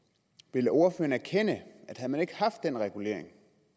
vil ordføreren erkende at havde man ikke haft den regulering